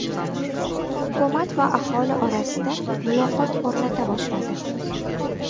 Hukumat va aholi orasida muloqot o‘rnata boshladi.